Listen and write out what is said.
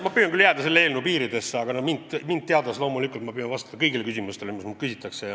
Ma püüan küll jääda selle eelnõu piiridesse, aga eks te mind tundes teate, et ma loomulikult püüan vastata kõigile küsimustele, mis minult küsitakse.